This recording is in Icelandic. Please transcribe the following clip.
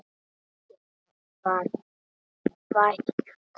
Engum var vægt.